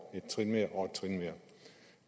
et trin mere og et trin mere